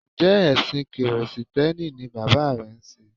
Njẹ́ ẹ̀ṣìn Kìrìsìtíẹ́nì ni bàbá rẹ ń sé?